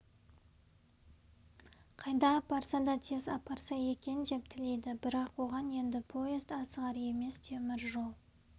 қайда апарса да тез апарса екен деп тілейді бірақ оған енді поезд асығар емес темір жол